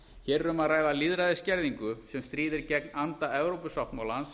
hér er um að ræða lýðræðisskerðingu sem stríðir gegn anda evrópusáttmálans